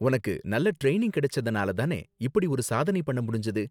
உனக்கு நல்ல ட்ரைனிங் கிடைச்சதனால தானே இப்படி ஒரு சாதனை பண்ண முடிஞ்சது?